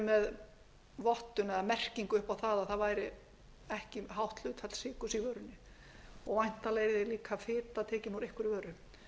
með vottun eða merkingu upp á að það væri ekki hátt hlutfall sykurs í vörunni og væntanlega yrði líka tekin úr einhverri vöru hins vegar vil ég